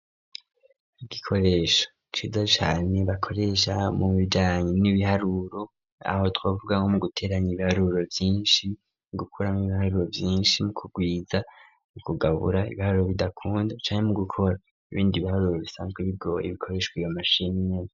Igikoresho ciza cane bakoresha mu bijanye n'ibiharuro aho twavuga nkomuguteranya ibiharuro vyinshi mu gukuramwo ibiharuro vyinshi mu kugwiza mu kugabura ibiharuro bidakunda canke mu gukora ibindi biharuro bisanzwe bigoye bikoreshwa iyo mashini nyene.